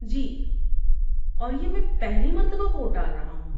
جی، اور یہ میں پہلی مرتبہ ووٹ ڈال رہا ہوں۔